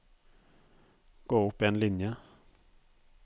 Gå opp en linje